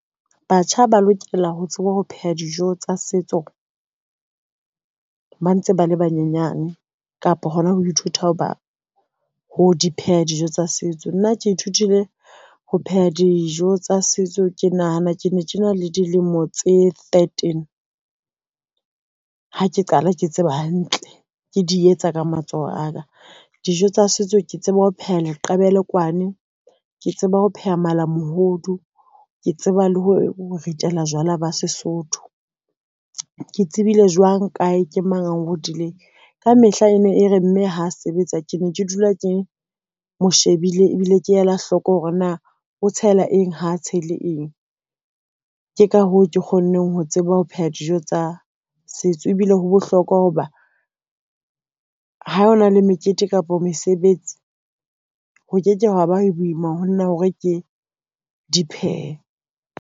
Batjha ba lokela ho tseba ho pheha dijo tsa setso, ba ntse ba le banyenyane kapa hona ho ithuta ho ba ho di pheha dijo tsa setso. Nna ke ithutile ho pheha dijo tsa setso, ke nahana ke ne ke na le dilemo tse thirteen. Ha ke qala ke tseba hantle ke di etsa ka matsoho aka dijo tsa setso, ke tseba ho pheha leqebelekwane ke tseba ho pheha malamohodu, ke tseba le ho ritela jwala ba Sesotho. Ke tsebile jwang kae ke mang a nrutileng? Kamehla e ne e re mme ha sebetsa, ke ne ke dula ke mo shebile, ebile ke ela hloko hore na o tshela eng ha tshele eng. Ke ka hoo ke kgonneng ho tseba ho pheha dijo tsa setso ebile ho bohlokwa hoba ha hona le mekete kapa mesebetsi ho ke ke hwa ba boima ho nna hore ke di phehe.